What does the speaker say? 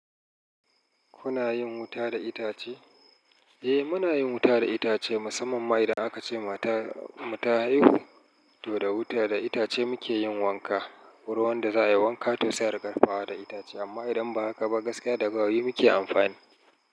Kuna yin wuta da itace? Eh, muna yin wuta da itace musamman ma idan aka ce matar mu ta haihu, to da wuta da itace muke yin wanka. Ruwan da za a yi wanka toh sai da ariƙadafawa da itace amma idan ba haka ba gaskiya da gawayi muke amfani.